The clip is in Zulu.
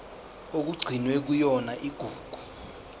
okugcinwe kuyona igugu